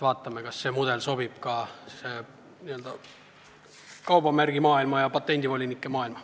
Vaatame, kas see mudel sobib ka kaubamärgi maailma ja patendivolinike maailma.